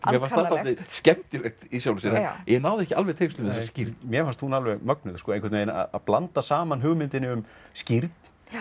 mér fannst það dálítið skemmtilegt í sjálfu sér en ég náði ekki alveg tengslum við þessa skírn mér fannst hún alveg mögnuð að blanda saman hugmyndinni um skírn